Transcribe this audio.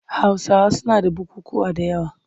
Hausawa suna da bukukkuwa da yawa.